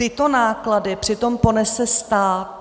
Tyto náklady přitom ponese stát.